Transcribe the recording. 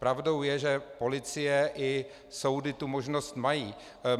Pravdou je, že policie i soudy tu možnost mají.